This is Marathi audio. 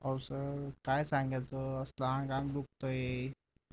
अहो सर काय सांगायचं आंग आंग दुखतंय